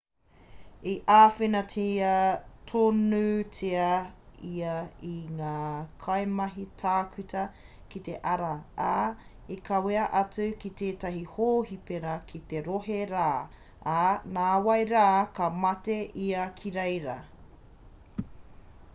i āwhinatia tonutia ia e ngā kaimahi tākuta ki te ara ā i kawea atu ki tētahi hōhipera ki te rohe rā ā nāwai rā ka mate ia ki reira